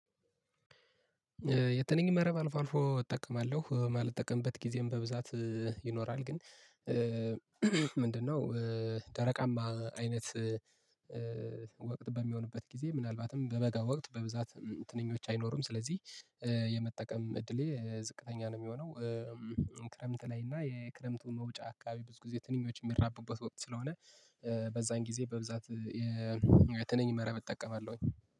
የትንኝ መረብ አልፎ አልፎ እጠቀማለሁ ማልጠቀምበት ጊዜም በብዛት ይኖራል ግን ምንድነው? ደረቃማ አይነት ወቅት በሚሆንበት ጊዜ ምናልባትም በበጋ ወቅት በብዛት ትንኞች አይኖሩም ስለዚህ የመጠቀም እድሌ ዝቅተኛ ነው የሚሆነው። ክረምት ላይ እና የክረምቱ መውጫ አካባቢ ብዙ ጊዜ ትንኞች የሚራቡበት ወቅት ስለሆነ በዛን ጊዜ በብዛት የትነኝ መረብ እጠቀማለሁኝ